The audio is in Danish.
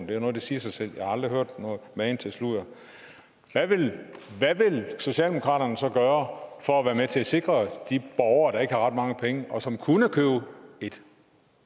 det er noget der siger sig selv jeg har aldrig hørt magen til sludder hvad vil socialdemokratiet så gøre for at være med til at sikre de borgere der ikke har ret mange penge og som kunne købe et